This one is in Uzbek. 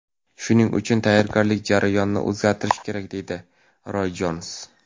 Shuning uchun tayyorgarlik jarayonini o‘zgartirish kerak”, deydi Roy Jons.